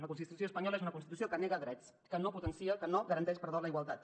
la constitució espanyola és una constitució que nega drets que no garanteix la igualtat